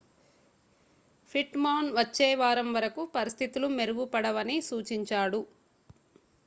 pit Maan వచ్చే వారం వరకు పరిస్థితులు మెరుగుపడవని సూచించాడు